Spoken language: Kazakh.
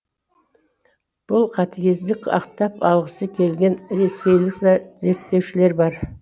бұл қатігездік ақтап алғысы келетін ресейлік зерттеушілер бар